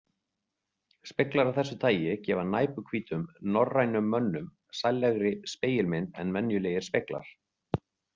Speglar af þessu tagi gefa næpuhvítum norrænum mönnum sællegri spegilmynd en venjulegir speglar.